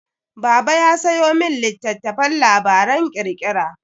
Baba ya sayo min littattafan labaran ƙirƙira.